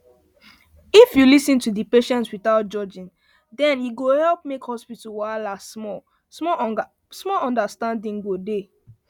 if you lis ten to patient without judging dem e go help make hospital wahala small understanding go dey